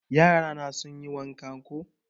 Yara na sun yi wanka koh